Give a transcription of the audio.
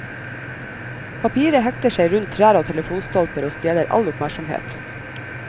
Papiret hekter seg rundt trær og telefonstolper og stjeler all oppmerksomhet.